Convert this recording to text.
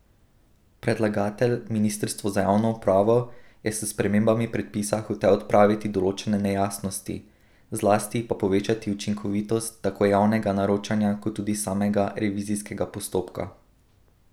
Predlagatelj, ministrstvo za javno upravo, je s spremembami predpisa hotel odpraviti določene nejasnosti, zlasti pa povečati učinkovitost tako javnega naročanja kot tudi samega revizijskega postopka.